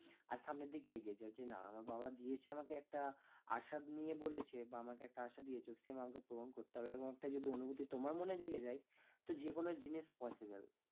আর সামনের দিকে এগিয়ে যাও, যে না আমার বাবা দিয়েছে আমাকে একটা আশ্বাস নিয়ে বলেছে বা আমাকে একটা আশা দিয়েছে same আমাকে পূরণ করতে হবে, এরকম একটা অনুভূতি যদি তোমার মনে জেগে যায় তো যেকোনো জিনিস possible